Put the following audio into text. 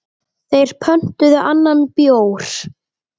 Þeir pöntuðu annan bjór.